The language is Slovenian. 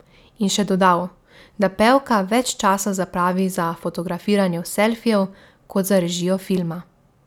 In še dodal, da pevka več časa zapravi za fotografiranje selfijev kot za režijo filma.